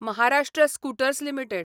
Maharashtra scooters limited